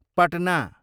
Patna